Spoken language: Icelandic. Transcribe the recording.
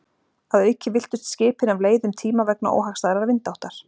Að auki villtust skipin af leið um tíma vegna óhagstæðrar vindáttar.